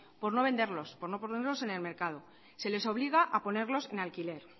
por no venderlos por no ponerlos en el mercado se les obliga a ponerlos en alquiler